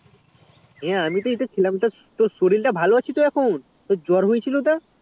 হ্যাঁ আমি এই তো খেলাম হ্যাঁ তোর সরিল টা ভালো আছে তো এখন তোর জ্বর হয়েছিল তা